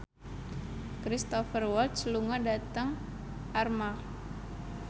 Cristhoper Waltz lunga dhateng Armargh